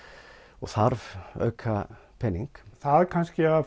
og þarf auka pening það kannski að